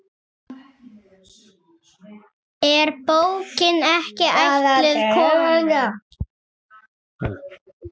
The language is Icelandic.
Er bókin ekki ætluð konum?